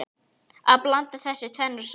Að blanda þessu tvennu saman.